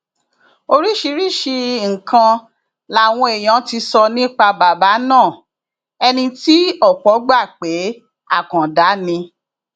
oríṣiríṣiì nǹkan làwọn èèyàn ti sọ nípa bàbá náà ẹni tí ọpọ gbà pé àkàndá ni